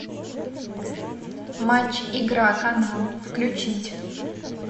матч игра канал включить